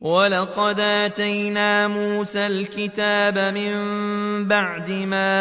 وَلَقَدْ آتَيْنَا مُوسَى الْكِتَابَ مِن بَعْدِ مَا